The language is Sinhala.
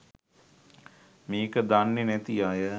මේක දන්නෙ නැති අය